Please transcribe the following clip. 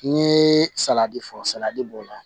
N ye saladi fɔ saladi b'o la